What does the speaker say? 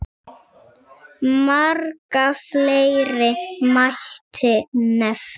Marga fleiri mætti nefna.